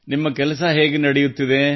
ನಿಮ್ಮ ಕೆಲಸ ಹೇಗೆ ನಡೆಯುತ್ತಿದೆ